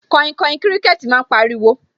Kainkain kíríkẹ́tì máa ń pariwo